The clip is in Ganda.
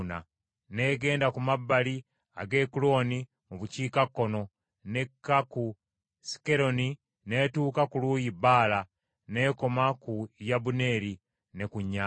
n’egenda ku mabbali ag’e Ekuloni mu bukiikakkono, n’ekka ku Sikkeroni n’etuuka ku lusozi Baala, n’ekoma ku Yabuneeri, ne ku nnyanja.